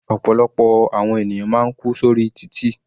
Ọ̀pọ̀lọpọ̀ àwọn ènìyàn máa ń kú sórí títì.